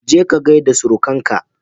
Je ka gaida surukan ka